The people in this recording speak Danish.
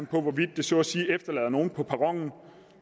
på hvorvidt det så at sige efterlader nogle på perronen